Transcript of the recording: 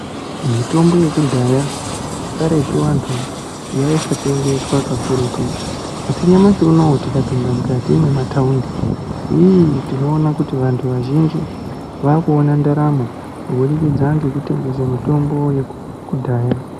Mitombo yekudhaya karetu vantu, yaisaitengeswa kakurutu, asi nyamashi uno tikapinda mukati mwemataundi ii tinoona kuti vantu vazhinji vakuona ndaramo kubudikidza ngekutengese mitomboyo yekudhaya.